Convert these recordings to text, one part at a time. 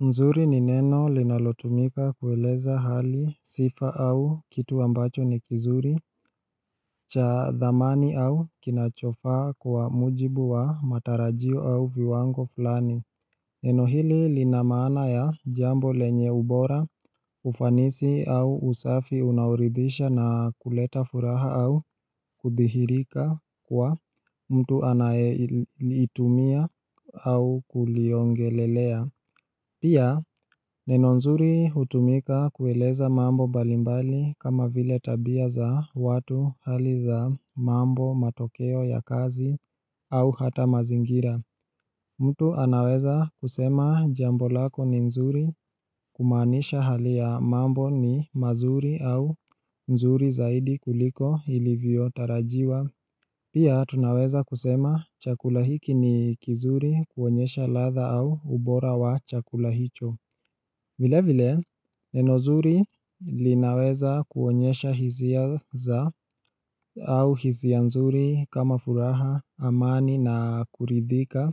Nzuri ni neno linalotumika kueleza hali sifa au kitu ambacho ni kizuri, cha dhamani au kinachofaa kwa mujibu wa matarajio au viwango fulani. Neno hili linamana ya jambo lenye ubora, ufanisi au usafi unaoridhisha na kuleta furaha au kuthihirika kwa mtu anayelitumia au kuliongelelea. Pia neno nzuri hutumika kueleza mambo mbalimbali kama vile tabia za watu hali za mambo matokeo ya kazi au hata mazingira. Mtu anaweza kusema jambo lako ni nzuri kumanisha hali ya mambo ni mazuri au nzuri zaidi kuliko ilivyo tarajiwa. Pia tunaweza kusema chakulahiki ni kizuri kuonyesha ladha au ubora wa chakulahicho vile vile, nenozuri linaweza kuonyesha hizia za au hizia nzuri kama furaha amani na kuridhika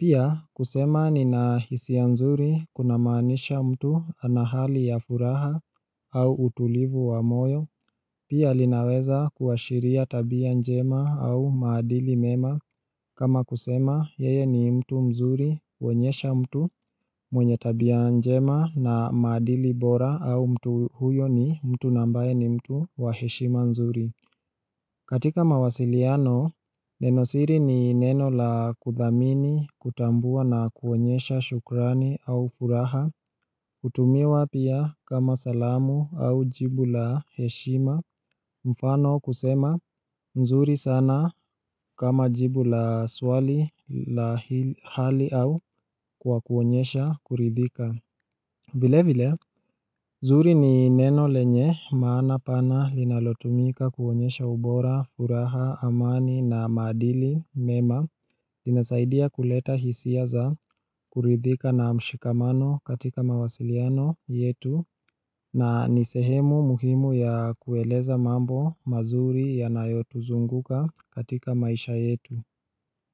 Pia kusema ni na hizia nzuri kuna manisha mtu anahali ya furaha au utulivu wa moyo Pia linaweza kuashiria tabia njema au madili mema kama kusema yeye ni mtu mzuri uonyesha mtu mwenye tabia njema na madili bora au mtu huyo ni mtu nambaye ni mtu wa heshima nzuri katika mawasiliano, nenosiri ni neno la kuthamini, kutambua na kuonyesha shukrani au furaha, kutumiwa pia kama salamu au jibu la heshima, mfano kusema, nzuri sana kama jibu la swali la hali au kwa kuonyesha kuridhika vile vile, zuri ni neno lenye maana pana linalotumika kuonyesha ubora, furaha, amani na maadili, mema, linasaidia kuleta hisia za kuridhika na mshikamano katika mawasiliano yetu, na nisehemu muhimu ya kueleza mambo mazuri ya nayotuzunguka katika maisha yetu.